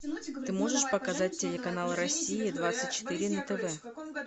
ты можешь показать телеканал россия двадцать четыре на тв